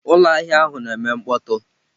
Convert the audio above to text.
Ụlọ ahịa ahụ na-eme mkpọtụ.